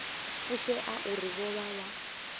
fushea uri vho vha vha